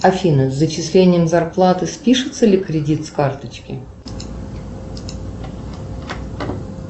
афина с зачислением зарплаты спишется ли кредит с карточки